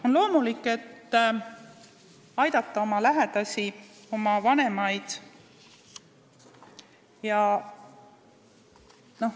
On loomulik aidata oma lähedasi, oma vanemaid.